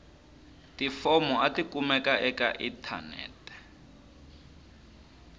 tifomo a tikumeki eka inthanete